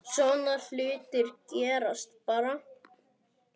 Svona hlutir gerast bara.